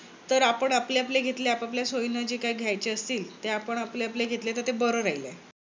तर आपण आपले आपले घेतले आपापल्या सोयीने जे काही घ्यायचे असतील ते आपण आपले आपले घेतले तर ते बर राहील.